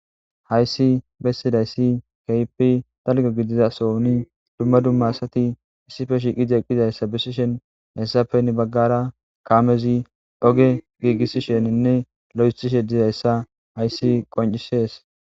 Hayissi besizasi kehippe dalganne demba gidiza sohon duma duma asati issippe yishe dizayisanne kamezi ogen gigisishe dizayisa hayisi qonc,ises